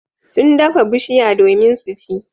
Sun dafa bushiya domin su ci.